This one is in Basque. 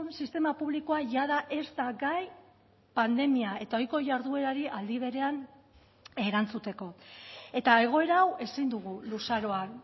sistema publikoa jada ez da gai pandemia eta ohiko jarduerari aldi berean erantzuteko eta egoera hau ezin dugu luzaroan